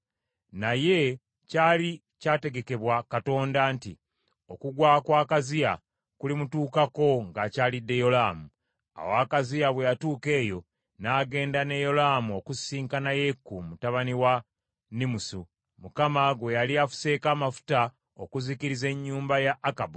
Naye kyali kyategekebwa Katonda, nti okugwa kwa Akaziya kulimutuukako ng’akyalidde Yolaamu. Awo Akaziya bwe yatuuka eyo, n’agenda ne Yolaamu okusisinkana Yeeku mutabani wa Nimusu, Mukama gwe yali afuseeko amafuta okuzikiriza ennyumba ya Akabu.